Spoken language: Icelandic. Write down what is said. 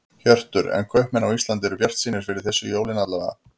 Hjörtur: En kaupmenn á Íslandi eru bjartsýnir fyrir þessi jólin alla vega?